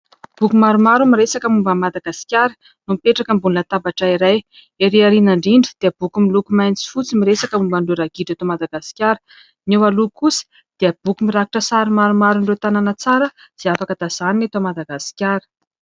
Boky maromaro miresaka momba Madagasikara mipetraka ambony latabatra iray. Ery aoriana indrindra dia boky miloko mainty sy fotsy miresaka momba ny ragidro eto Madagasikara, ny eo aloha kosa dia boky mirakitra sary maromaron'ireo tanàna tsara izay afaka tazanina eto Madagasikara.